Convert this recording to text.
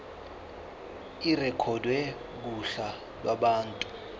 irekhodwe kuhla lwabantu